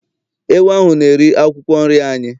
Ewu ahụ na-eri akwụkwọ nri anyị.